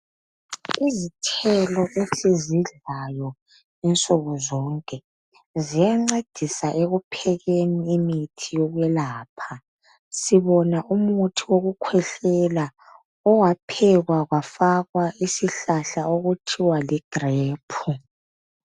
Izithelo esizidlayo insuku zonke ziyancedisa ekuphekeni imithi yokwelapha. Sibona umuthi wokukhwehlela owaphekwa kwafakwa isihlahla okuthiwa li grape.